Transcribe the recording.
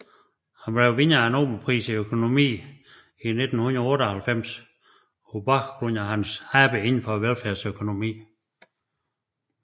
Han blev vinder af Nobelprisen i økonomi i 1998 på baggrund af hans arbejde inden for velfærdsøkonomi